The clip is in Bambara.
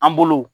An bolo